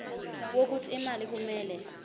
wokuthi imali kumele